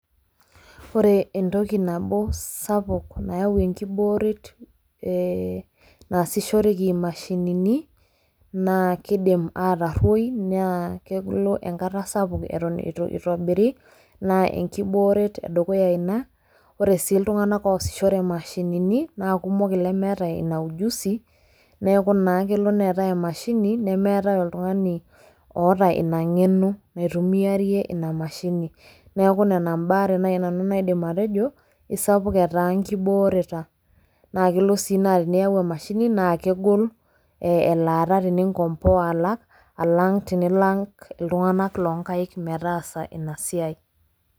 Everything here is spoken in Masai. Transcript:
Ore entoki nabo sapuk nayau enkibooret naasishoreki mashinini, naa kiidim atorruoi, naa keku ilo enkata sapuk eton itu itobiri, naa enkibooret edukuya ina, ore si iltung'anak oosishore mashinini, na kumok lemeeta ina ujuzi, neeku naa kelo neetae emashini nemeetae oltung'ani oota ina ng'eno naitumiarie ina mashini. Neeku nena embaare nai nanu naidim atejo, isapuketaa nkibooreta. Na kelo si na teniyau emashini na kegol, elaata teningomboa alak, alang tenilak iltung'anak lonkaik metaasa inasiai.